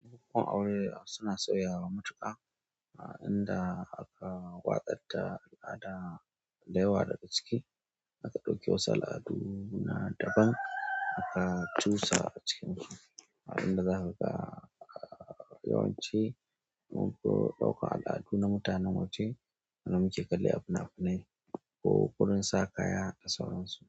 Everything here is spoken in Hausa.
Bukukuwan aure suna sauyawa matuƙa, inda aka watsar da al'ada da yawa daga ciki. A ka ɗauki wasu al'aduna daban aka cusa a cikinsu inda zaka ga yawanci unguwar ɗauka al'adu namu ta namu ce, ana muke kalle abuna abune ko ƙuri'n sa kaya da sauran su.